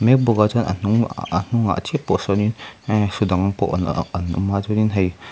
mek bawk a chuan a hnung a a ahh a hnungah chiah pawh sawn in eee sa dang pawh an awm a chuan in hei--